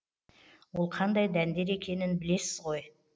ол қандай дәндер екенін білесіз ғой